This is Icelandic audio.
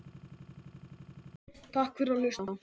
Takk fyrir að hlusta.